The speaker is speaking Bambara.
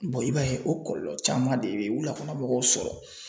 i b'a ye o kɔlɔlɔ caman de be wulakɔnɔ mɔgɔw sɔrɔ.